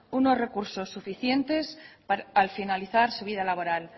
unos recursos suficientes al finalizar su vida laboral